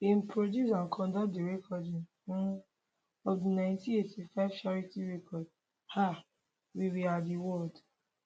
im produce and conduct di recording um of di 1985 charity record um we we are di world